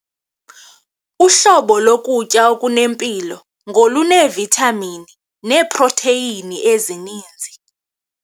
Uhlobo lokutya okunempilo ngoluneevithamini neeprotheyini ezininzi.